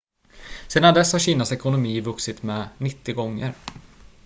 sedan dess har kinas ekonomi vuxit med 90 gånger